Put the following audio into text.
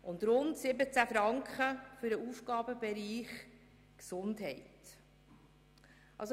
Rund 17 Franken haben wir für den Aufgabenbereich Gesundheit ausgegeben.